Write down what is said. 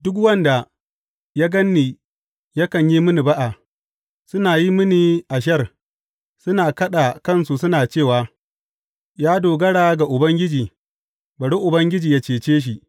Duk wanda ya gan ni yakan yi mini ba’a; suna yin mini ashar, suna kaɗa kansu suna cewa, Ya dogara ga Ubangiji; bari Ubangiji yă cece shi.